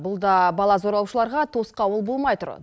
бұл да бала зорлаушыларға тосқауыл болмай тұр